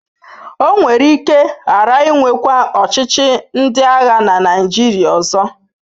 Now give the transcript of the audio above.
O nwere ike ghara inwekwa ọchịchị ndị agha na Naịjirịa ọzọ.